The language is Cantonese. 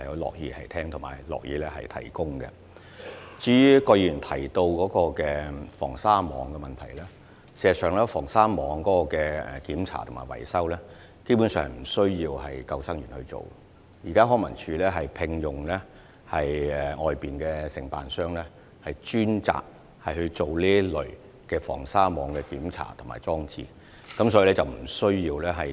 至於葛議員提到的防鯊網問題，事實上，防鯊網的檢查及維修工作基本上不需要由救生員處理，現時康文署已聘用外間承辦商專責處理防鯊網的檢查及裝置。